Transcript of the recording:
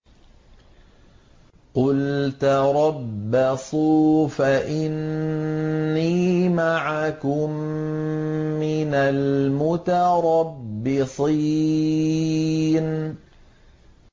قُلْ تَرَبَّصُوا فَإِنِّي مَعَكُم مِّنَ الْمُتَرَبِّصِينَ